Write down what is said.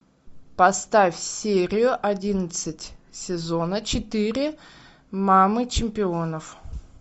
поставь серию одиннадцать сезона четыре мамы чемпионов